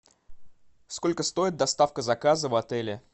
сколько стоит доставка заказа в отеле